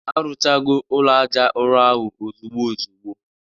Arụchago ụlọ aja ụrọ ahụ ozugbo ozugbo